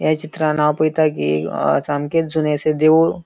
या चित्रांत हाव पयता कि सामकेत जुने अशे देऊळ --